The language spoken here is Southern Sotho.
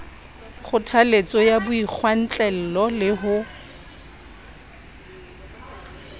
kgothaletso ya boikgwantlello le ho